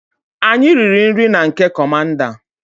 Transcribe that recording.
Anyi riri NRI na nke commander